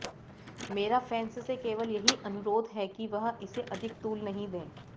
मेरा फैन्स से केवल यही अनुरोध है कि वह इसे अधिक तूल नहीं दें